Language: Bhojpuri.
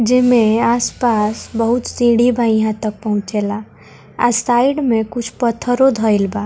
जेमें आसपास बहुत सीढ़ी बा इहां तक पहुंचे ला अ साइड में कुछ पत्थरो धइल बा।